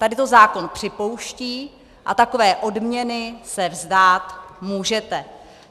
Tady to zákon připouští a takové odměny se vzdát můžete.